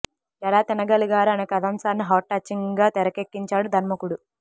ఎలా తినగలిగారు అనే కథాంశాన్ని హార్ట్ టచింగ్ గా తెరకెక్కించాడు దర్శకుడు